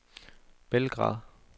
Belgrad